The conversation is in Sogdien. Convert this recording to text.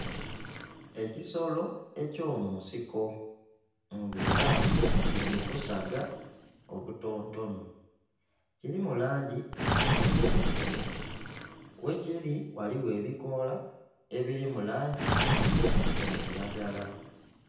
Ekisolo eky'omunsiko nga era kili mu busaga obutontono. Kilimu langi endhirugavu, ghekiri ghaligho ebikoola ebili mu langi ya kilagala.